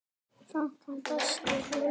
Krankan brestur völdin.